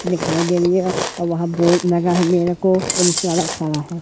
दिखाई दे रही है और वहा बोर्ड लगा है मेरे को पुलिस वाला खड़ा है।